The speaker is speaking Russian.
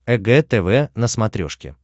эг тв на смотрешке